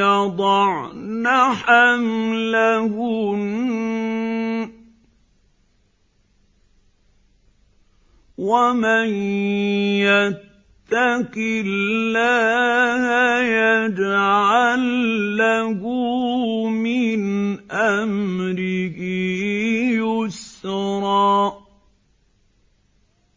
يَضَعْنَ حَمْلَهُنَّ ۚ وَمَن يَتَّقِ اللَّهَ يَجْعَل لَّهُ مِنْ أَمْرِهِ يُسْرًا